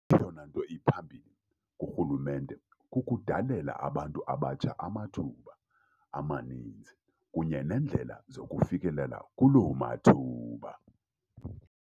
Eyona nto iphambili kurhulumente kukudalela abantu abatsha amathuba amaninzi kunye neendlela zokufikelela kuloo mathuba.